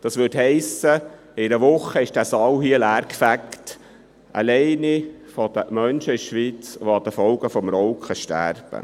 Das heisst, in einer Woche wäre dieser Saal leer und dies allein aufgrund der Leute, die aufgrund des Rauchens in der Schweiz sterben.